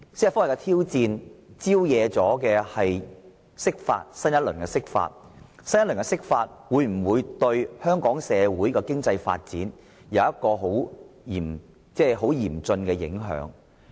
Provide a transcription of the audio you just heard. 司法覆核的挑戰招惹了新一輪的釋法，而新一輪的釋法會否對香港社會的經濟發展帶來嚴峻的影響？